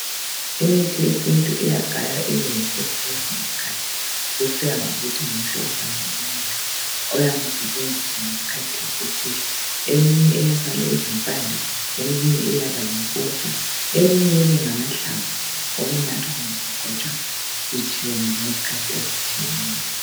Imithi. yesintu iyagaywa ibeyimpuphu kwesinye isikhathi. Kusiya ngokuthi ngumhlobo bani womuthi. Oyabe usetshenziswa ngesikhathi esithile. Eminye iyasala izimpande, eminye iyabayimpuphu, eminye ibe ngamahlamvu. Owokunathwa kumbe ukugcotshwa. Utshiyene. ngezikhathi ezitshiyeneyo.